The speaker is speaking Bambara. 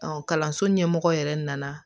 kalanso ɲɛmɔgɔ yɛrɛ nana